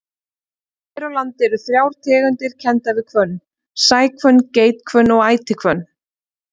Hér á landi eru þrjár tegundir kenndar við hvönn, sæhvönn, geithvönn og ætihvönn.